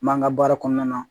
N b'an ka baara kɔnɔna na